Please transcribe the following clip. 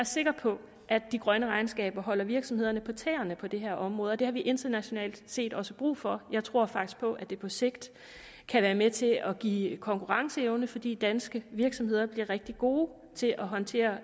sikker på at de grønne regnskaber holder virksomhederne på tæerne på det her område og det har vi internationalt set også brug for jeg tror faktisk på at det på sigt kan være med til at give konkurrenceevne fordi danske virksomheder bliver rigtig gode til at håndtere